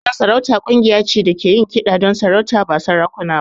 Makaɗan sarauta ƙungiya ce da ke yin kiɗa don sarauta, ba sarakuna ba.